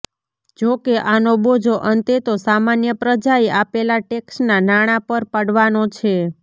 જોકે આનો બોજો અંતે તો સામાન્ય પ્રજાએ આપેલા ટેક્ષના નાણાં પર પડવાનો છે